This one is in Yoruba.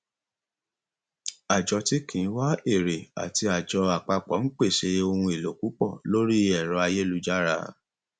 àjọ tí kì í wá èrè àti àjọ apapo ń pèsè ohun èlò púpọ lórí ẹrọ ayélujára